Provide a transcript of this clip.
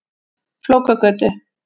Flókagötu